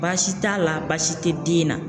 Baasi t'a la baasi tɛ den na.